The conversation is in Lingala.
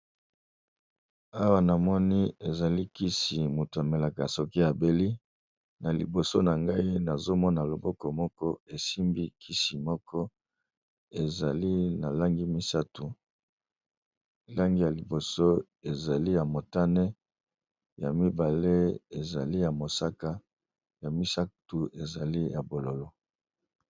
Awa namoni eza kisi mutu amelaka sokî abeli nalikolo nangai nazomona loboko esimbi kisi moko ezali na langi misatu, motani, mosaka, pe bonzinga.